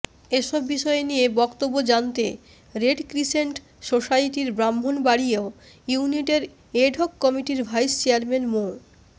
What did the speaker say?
এসব বিষয়ে নিয়ে বক্তব্য জানতে রেড ক্রিসেন্ট সোসাইটির ব্রাহ্মণবাড়িয় ইউনিটের এডহক কমিটির ভাইস চেয়ারম্যান মো